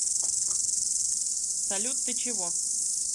салют ты чего